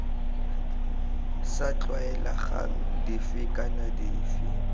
sa tlwaelegang dife kana dife